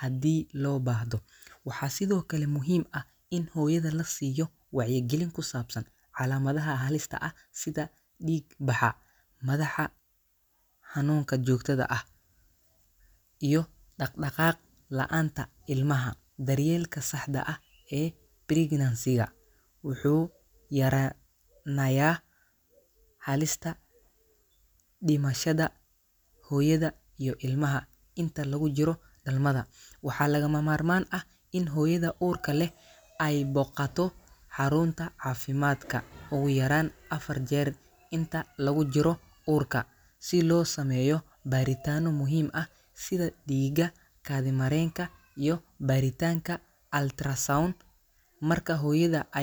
haddii loo baahdo. Waxaa sidoo kale muhiim ah in hooyada la siiyo wacyigelin ku saabsan calaamadaha halista ah sida dhiig-baxa, madaxa xanuunka joogtada ah, iyo dhaqdhaqaaq la’aanta ilmaha. Daryeelka saxda ah ee pregnancy-ga wuxuu yaraa nayaa halista dhimashada hooyada iyo ilmaha inta lagu jiro dhalmada. Waxaa lagama maarmaan ah in hooyada uurka leh ay booqato xarunta caafimaadka ugu yaraan afar jeer inta lagu jiro uurka, si loo sameeyo baaritaanno muhiim ah sida dhiigga, kaadi mareenka, iyo baaritaanka ultrasound. Marka hooyada ay .